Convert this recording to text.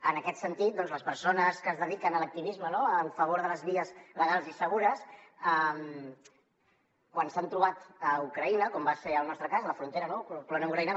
en aquest sentit les persones que es dediquen a l’activisme no en favor de les vies legals i segures quan s’han trobat a ucraïna com va ser el nostre cas a la frontera polònia ucraïna